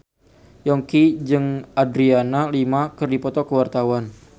Yongki jeung Adriana Lima keur dipoto ku wartawan